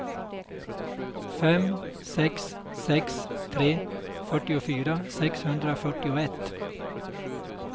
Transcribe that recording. fem sex sex tre fyrtiofyra sexhundrafyrtioett